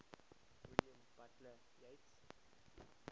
william butler yeats